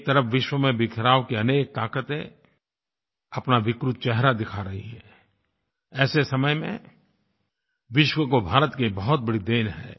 एक तरफ़ विश्व में बिखराव की अनेक ताक़तें अपना विकृत चेहरा दिखा रही हैं ऐसे समय में विश्व को भारत की एक बहुत बड़ी देन है